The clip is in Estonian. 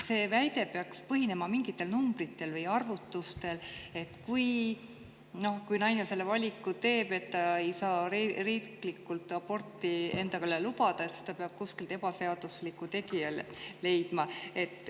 See väide peaks põhinema mingitel numbritel või arvutustel, et kui naine teeb sellise valiku ja ta ei saa endale riiklikku aborti lubada, siis ta peab leidma kuskilt ebaseadusliku tegija.